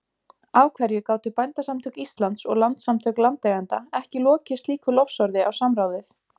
Af hverju gátu Bændasamtök Íslands og Landssamtök landeigenda ekki lokið slíku lofsorði á samráðið?